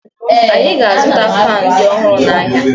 Anyị ga-azụta faanị ndị ọhụrụ n'ahịa